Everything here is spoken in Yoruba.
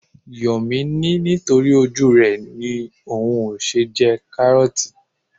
Yomi ní nítorí ojú rẹ ni òun ṣe ń jẹ karooti.